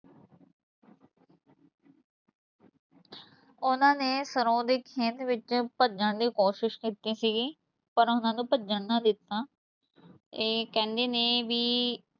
ਉਹਨਾਂ ਨੇ ਸਰੋਂ ਦੇ ਖੇਤ ਵਿੱਚ ਭੱਜਣ ਦੀ ਕੋਸ਼ਿਸ਼ ਕੀਤੀ ਸੀਗੀ ਪਰ ਉਹਨਾਂ ਨੂੰ ਭੱਜਣ ਨਾ ਦਿੱਤਾ, ਇਹ ਕਹਿੰਦੇ ਨੇ ਵੀ